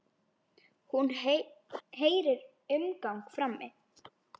Hún heyrir umgang frammi.